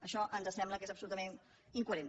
això ens sembla que és absolutament incoherent